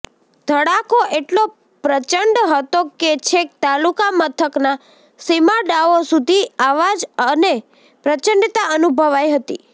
ધડાકો એટલો પ્રચંડ હતો કે છેક તાલુકા મથકના સીમાડાઓ સુધી આવજ અને પ્રચંડતા અનુભવાઈ હતી